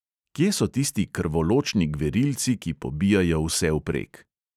Kje so tisti krvoločni gverilci, ki pobijajo vsevprek?